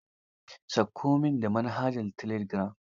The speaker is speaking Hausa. Sauko min da manhajara telegiram.